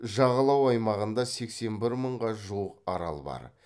жағалау аймағында сексен бір мыңға жуық арал бар